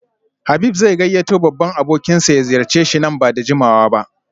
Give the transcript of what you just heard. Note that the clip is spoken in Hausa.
Habib zai gayyato babban abokinsa ya ziyarce shi nan ba da jimawa ba